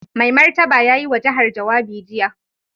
Mai Martaba ya yi wa jihar jawabi jiya.